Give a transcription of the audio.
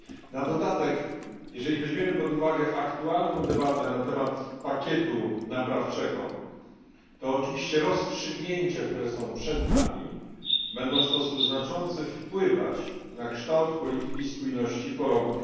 Na dodatek, jeżeli weźmiemy pod uwagę aktualną debatę na temat pakietu naprawczego, to oczywiście rozstrzygnięcia, które są przed nami, będą w sposób znaczący wpływać na kształt polityki spójności po roku